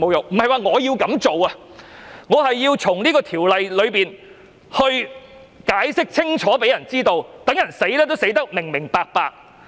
不是說我要這樣做，而是希望《條例草案》解釋清楚，讓人死也死得明明白白。